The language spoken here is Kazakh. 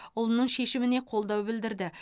ұлының шешіміне қолдау білдірді